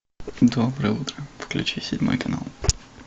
доброе утро включи седьмой канал